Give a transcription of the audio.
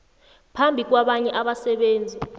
phambi kwabanye abasebenzi